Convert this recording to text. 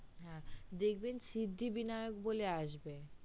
হ্যা দেখবেন সিদ্ধিবিনায়ক বলে আসবে